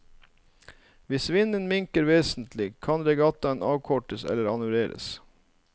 Hvis vinden minker vesentlig, kan regattaen avkortes eller annulleres.